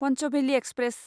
पन्चभेलि express